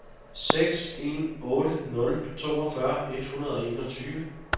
seks en otte nul toogfyrre et hundrede og enogtyve